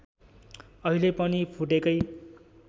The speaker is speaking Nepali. अहिले पनि फुटेकै